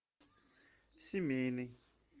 семейный